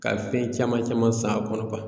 Ka fɛn caman caman san a kɔnɔ